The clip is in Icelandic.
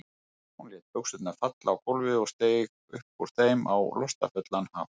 Hún lét buxurnar falla á gólfið og steig upp úr þeim á lostafullan hátt.